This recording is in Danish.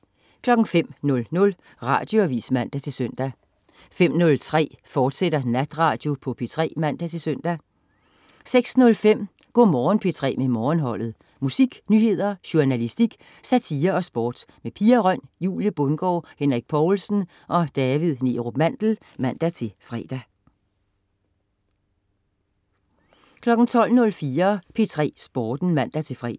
05.00 Radioavis (man-søn) 05.03 Natradio på P3, fortsat (man-søn) 06.05 Go' Morgen P3 med Morgenholdet. Musik, nyheder, journalistik, satire og sport. Pia Røn, Julie Bundgaard, Henrik Povlsen og David Neerup Mandel (man-fre) 09.05 Formiddagen. Med Adam & Sara. Adam Duvå Hall og Sara Bro (man-fre) 12.00 P3 Nyheder (man-søn)